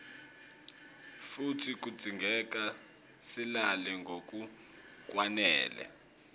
futsi kudzingeka silale ngalokwanele